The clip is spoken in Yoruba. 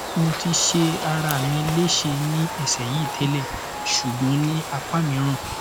mo ti se arami lese ni ese yi tele sugbon ni apamiran